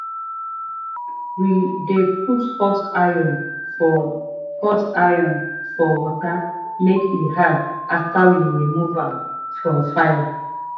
we dey put hot iron for hot iron for water make e hard after we rmove am from fire.